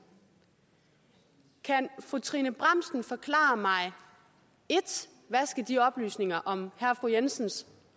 kan fru trine bramsen forklare mig 1 hvad de oplysninger om herre og fru jensens